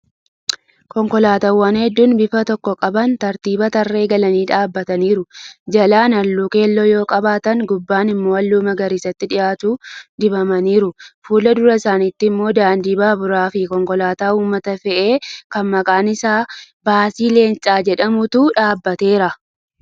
Konkolaataawwan hedduun bifa tokko qaban tartiiban tarree galanii dhaabataniiru. Jalaan halluu keelloo yoo qabaatan gubbaan immoo halluu magariisatti dhiyaatu dibamaniiru. Fuuldura isaaniitti immoo daandii baaburaa fi konkolaataa uummata fe'u kan maqaan isaa baasii Leenca jedhamutu dhaabateera.